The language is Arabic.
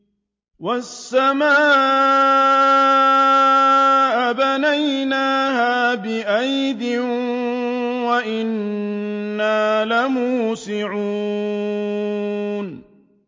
وَالسَّمَاءَ بَنَيْنَاهَا بِأَيْدٍ وَإِنَّا لَمُوسِعُونَ